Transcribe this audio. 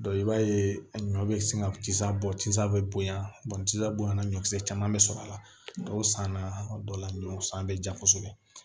i b'a ye a ɲɔ bɛ sin ka cisa bɔ tisaa bɛ bonya tisan bonya na ɲɔkisɛ caman bɛ sɔrɔ a la dɔw san na dɔw la ɲɔ san bɛ ja kosɛbɛ